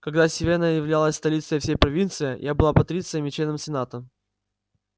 когда сивенна являлась столицей всей провинции я был патрицием и членом сената